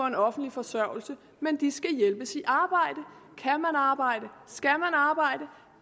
en offentlig forsørgelse men de skal hjælpes i arbejde